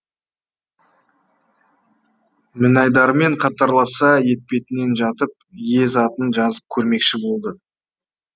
мінайдармен қатарласа етпетінен жатып ез атын жазып көрмекші болды